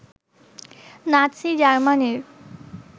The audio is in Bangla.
নাতসি জার্মানির